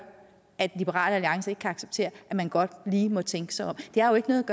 at liberal alliance ikke kan acceptere at man godt lige må tænke sig om det er jo ikke noget